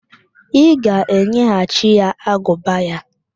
Ị ga-enyeghachi ya agụba ya?